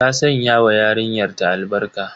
Ta sanya wa yarinyar ta albarka.